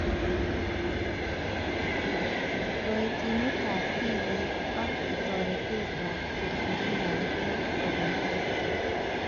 Kaitinetab tibik ak toretetab kerkeindoab bik kobun EdTech